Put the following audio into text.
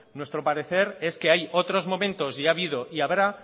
nuestro parecer es que hay otros momentos y ha habido y habrá